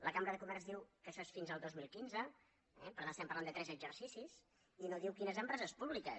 la cambra de comerç diu que això és fins al dos mil quinze eh per tant estem parlant de tres exercicis i no diu quines empreses públiques